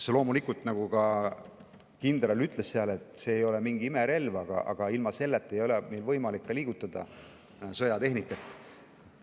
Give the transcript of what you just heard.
See loomulikult, nagu ka kindral ütles, ei ole mingi imerelv, aga ilma selleta ei ole meil võimalik liigutada sõjatehnikat.